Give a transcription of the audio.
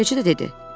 Elə beləcə də dedi.